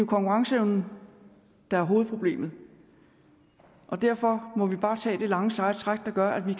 konkurrenceevnen der er hovedproblemet derfor må vi bare tage det lange seje træk der gør at vi